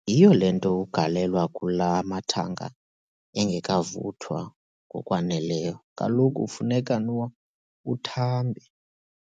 Yhiyo le nto ugalelwa kula mathanga engekavuthwa ngokwaneleyo, kaloku kufuneka nwo uthambe,